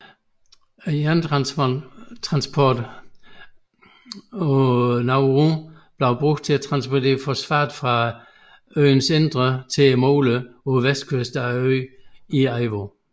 Jernbanetransport på Nauru blev brugt til at transportere fosfat fra øens indre til moler på vestkysten af øen i Aiwo